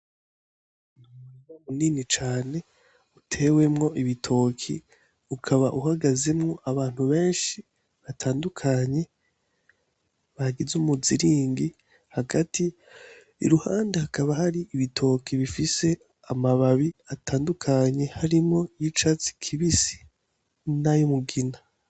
Umurima munini cane utewemwo ibitoki, ukaba uhagazemwo abantu benshi batandukanye bagize umuzingi hagati, iruhande hakaba hari ibitoki bifise amababi atandukanye harimwo ay'icatsi n'ayumugina.